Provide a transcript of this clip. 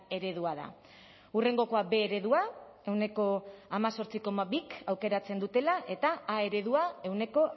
eredua da hurrengokoa b eredua ehuneko hemezortzi koma bik aukeratzen dutela eta a eredua ehuneko